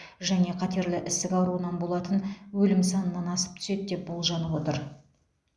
және қатерлі ісік ауруынан болатын өлім санынан асып түседі деп болжанып отыр